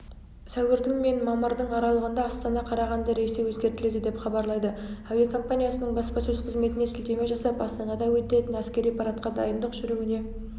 сәуірдің мен мамырдың аралығында астана карағанды рейсі өзгертіледі деп хабарлайды әуекомпаниясының баспасөз қызметіне сілтеме жасап астанада өтетін әскери парадқа дайындық жүруіне